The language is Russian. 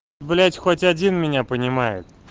блять хоть один меня понимает